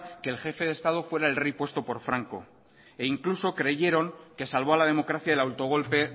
que el jefe de estado fuera el rey puesto por franco e incluso creyeron que salvó a la democracia el autogolpe